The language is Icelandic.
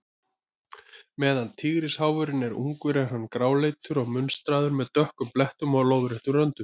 Meðan tígrisháfurinn er ungur er hann gráleitur og munstraður, með dökkum blettum og lóðréttum röndum.